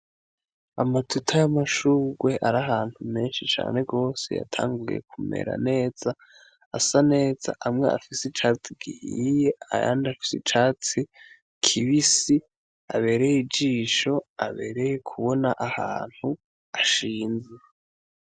Amatuta y'amashunrwe ari ahantu menshi cane rwose yatanguye kumera neza, asa neza. Amwe afise icatsi gihiye, ayandi afise icatsi kibisi. Abereye ijisho, abereye kubona ahantu ashinze.